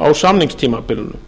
á samningstímabilinu